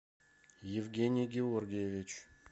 евгений георгиевич